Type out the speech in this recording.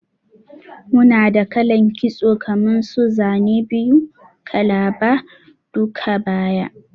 Muna da kalan kitso kaman su Zane biyu, kalaba, duka-baya,